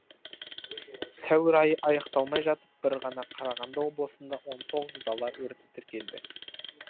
сәуір айы аяқталмай жатып бір ғана қарағанды облысында он тоғыз дала өрті тіркелді